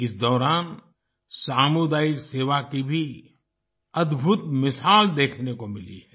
इस दौरान सामुदायिक सेवा की भी अद्भुत मिसाल देखने को मिली है